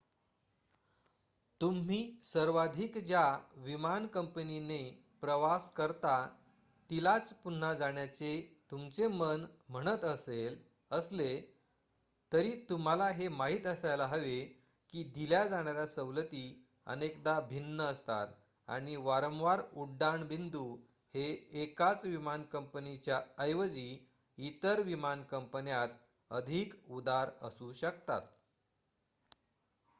तुम्ही सर्वाधिक ज्या विमान कंपनीने प्रवास करता तिलाच पुन्हा जाण्याचे तुमचे मन म्हणत असले तरी तुम्हाला हे माहित असायला हवे की दिल्या जाणाऱ्या सवलती अनेकदा भिन्न असतात आणि वारंवार उड्डाण बिंदू हे एकाच विमान कंपनीच्या ऐवजी इतर विमानकंपन्यात अधिक उदार असू शकतात